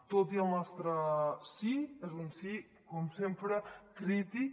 tot i el nostre sí és un sí com sempre crític